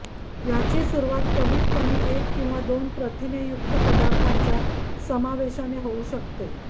याची सुरुवात कमीतकमी एक किंवा दोन प्रथिनेयुक्त पदार्थांच्या समावेशाने होऊ शकते